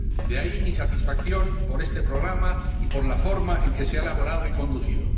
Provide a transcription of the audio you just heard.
De ahí mi satisfacción por este programa y por la forma en que se ha elaborado y conducido.